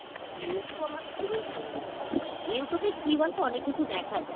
Youtube আমার খুবিই ভালো লাগে , Youtube এ কী বলতো অনেক কিছু দেখা যায়